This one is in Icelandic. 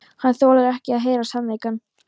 Hann þolir ekki að heyra sannleikann.